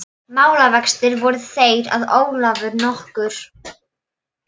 Málavextir voru þeir að Ólafur nokkur